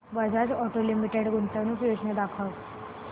Bajaj auto limited गुंतवणूक योजना दाखव